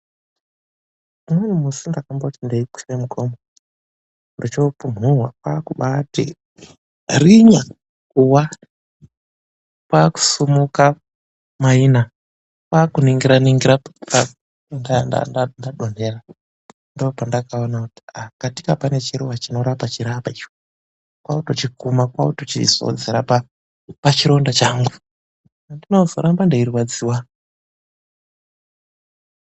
Umweni musi ndakamboti ndeikwira mugomo ndochopumhunwa kwaakubati rinya kuwa, kwaakusimuka maina, kwakuningira-ningira pandanga ndadonhera. Ndopandakuona kuti katika pane chiruwa chinorapa chiri apa, kwakutochikuma kwachizodzera pachironda changu andina kuzoramba ndichirwadziwa.